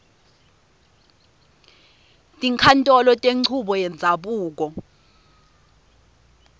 tinkhantolo tenchubo yendzabuko